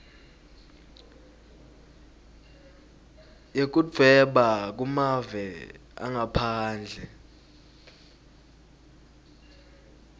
yekudvweba kumave angaphandle